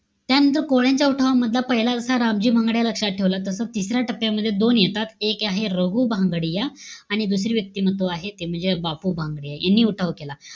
त्यानंतर कोळ्यांच्या उठावामधला पहिला, रामजी भांगडिया हा लक्षात ठेवला. तसा तिसऱ्या टप्प्यामध्ये दोन येतात. एक आहे रघु भांगडिया आणि दुसरी व्यक्तिमत्व आहे ते म्हणजे बापू भांगडिया, यांनी उठाव केला.